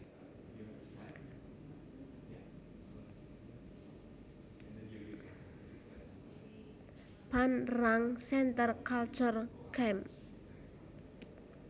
Phan Rang Centre Culturel Cam